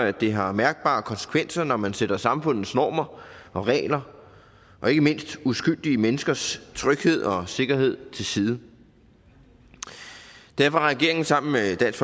at det har mærkbare konsekvenser når man sætter samfundets normer og regler og ikke mindst uskyldige menneskers tryghed og sikkerhed til side derfor har regeringen sammen med dansk